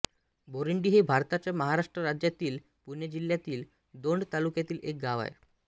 बोरींडी हे भारताच्या महाराष्ट्र राज्यातील पुणे जिल्ह्यातील दौंड तालुक्यातील एक गाव आहे